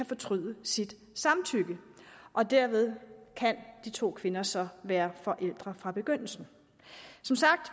fortryde sit samtykke dermed kan de to kvinder så være forældre fra begyndelsen som sagt